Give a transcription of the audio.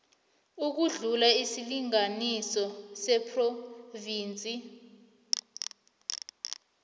ukudlula isilinganiso sephrovinsi